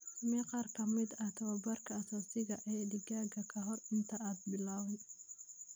Samee qaar ka mid ah tababarka aasaasiga ah ee digaaga ka hor inta aanad bilaabin.